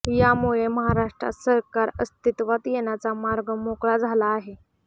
यामुळे महाराष्ट्रात सरकार अस्तित्वात येण्याचा मार्ग मोकळा झाला आहे